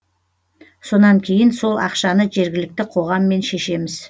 сонан кейін сол ақшаны жергілікті қоғаммен шешеміз